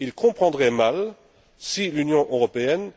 Ils comprendraient mal que, d'une part, l'Union européenne